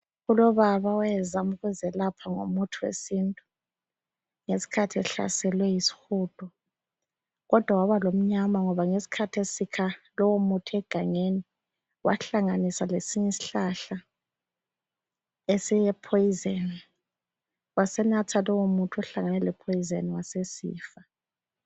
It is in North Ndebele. Kulobaba owayezama ukuziyelapha ngomuthi wesintu, ngesikhathi ehlaselwe yisihudo kodwa wabala lomnyama ngoba ngesikhathi esikha lo muthi egangeni wahlanganisa lesinye isihlahla esile phoyizeni wasenatha lowo muthi ohlangane le phoyizeni wasesifa.